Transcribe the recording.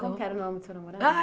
Qual que era o nome do seu namorado?